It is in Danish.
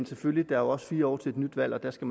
selvfølgelig også fire år til et nyt valg og der skal